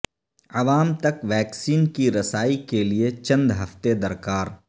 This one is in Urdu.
عوام تک ویکسین کی رسائی کیلئے چند ہفتے درکار